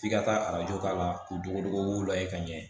F'i ka taa arajo k'a la k'u dogo dogo lajɛ ka ɲɛ